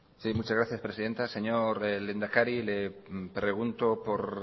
sí muchas gracias presidenta señor lehendakari le pregunto por